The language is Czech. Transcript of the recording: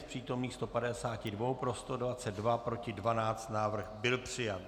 Z přítomných 152 pro 122, proti 12, návrh byl přijat.